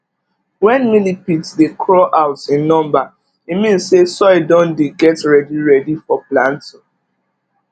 when millipedes dey craw out in number e mean say soil don dey get ready ready for planting